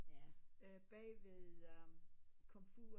Bagved komfuret